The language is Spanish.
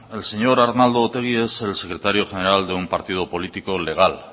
el señor arnaldo otegi es el secretario general de un partido político legal